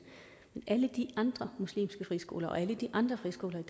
alle de andre muslimske friskoler og alle de andre friskoler i